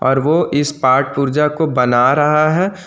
और वो इस पार्ट पुर्जा को बना रहा है।